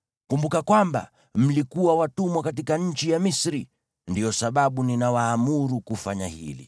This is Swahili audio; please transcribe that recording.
Kumbuka kwamba mlikuwa watumwa katika nchi ya Misri. Ndiyo sababu ninawaamuru kufanya hili.